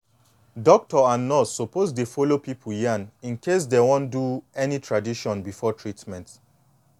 doctor and nurse suppose dey follow pipu yan incase dey wan do any tradition before treatment